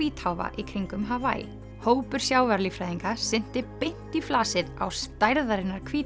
hvítháfa í kringum hópur sjávarlíffræðinga synti beint í flasið á stærðarinnar